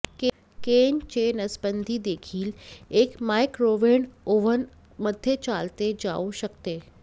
केन चे नसबंदी देखील एक मायक्रोवेव्ह ओव्हन मध्ये चालते जाऊ शकते